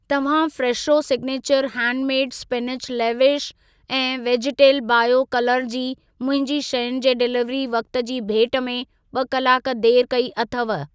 तव्हां Fresho signature handmade spinach leaves ऐं vegetal bio colour जी मुंहिंजी शयुनि जे डिलीवरी वक़्ति जी भेट में ॿ कलाक देर कई अथव।